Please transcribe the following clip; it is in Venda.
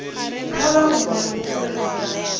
kha vha rumele khumbelo kha